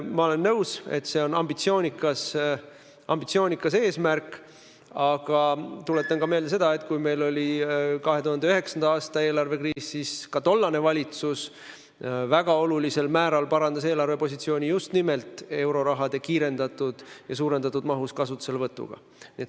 Ma olen nõus, et see on ambitsioonikas eesmärk, aga tuletan teile meelde, et kui meil oli 2009. aasta eelarvekriis, siis ka tollane valitsus väga olulisel määral parandas eelarvepositsiooni just nimelt euroraha kiirendatud ja suurendatud mahus kasutuselevõtuga.